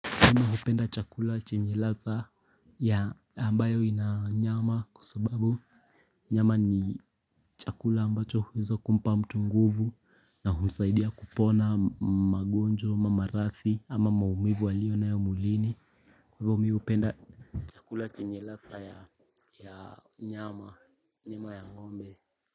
Napenda chakula chenye ladha ya ambayo ina nyama kwa sababu nyama ni chakula ambacho huweza kumpa mtu nguvu na humsaidia kupona magonjwa ama maradhi ama maumivu aliyonayo mwilini kwa hivyo mimi hupenda chakula chenye ladha ya nyama nyama ya ngombe.